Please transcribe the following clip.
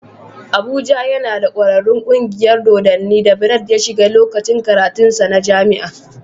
Abuja yana da ƙwararrun kungiyar dodanni da Bright ya shiga lokacin karatunsa na jami'a.